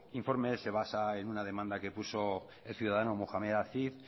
informe se basa en una demanda que puso el ciudadano mohamed aziz